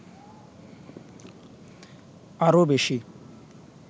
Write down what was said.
আরো বেশী